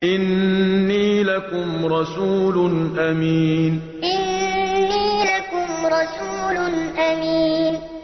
إِنِّي لَكُمْ رَسُولٌ أَمِينٌ إِنِّي لَكُمْ رَسُولٌ أَمِينٌ